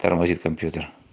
тормозит компьютер